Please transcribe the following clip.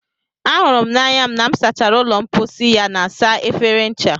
ahụrụ m na m sachara ụlọ mposi ya na saa efere ncha